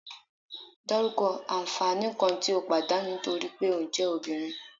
Daruko anfani kan ti o padanu nitori pe o je Obinrin